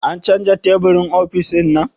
A canza teburin ofis ɗinnan?